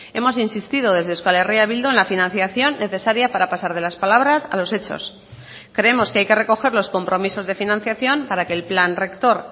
hemos insistido desde euskal herria bildu en la financiación necesaria para pasar de las palabras a los hechos creemos que hay que recoger los compromisos de financiación para que el plan rector